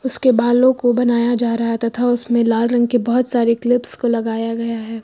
उसके बालों को बनाया जा रहा है तथा उसमें लाल रंग के बहुत सारे क्लिप्स को लगाया गया है।